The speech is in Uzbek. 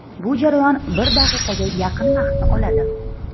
Bu jarayon bir daqiqaga yaqin vaqtni oladi.